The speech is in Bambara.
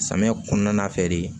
Samiya kɔnɔna fɛ de